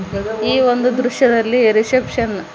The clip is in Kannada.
ಈ ಒಂದು ದೃಶ್ಯದಲ್ಲಿ ರಿಸೆಪ್ಶನ್ --